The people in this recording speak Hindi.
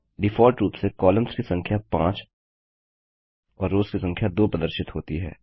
डिफॉल्ट रूप से कॉलम्स की संख्या 5 और रोव्स की संख्या 2 प्रदर्शित होती है